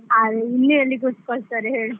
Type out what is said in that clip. ಅಲ್ಲಿ ಎಲ್ಲಿ ಕೂತ್ಕೋಳಿಸ್ತಾರೆ ಹೇಳು.